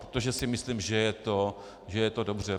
Protože si myslím, že je to dobře.